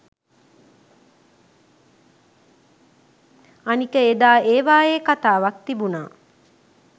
අනික එදා ඒවායේ කතාවක් තිබුණා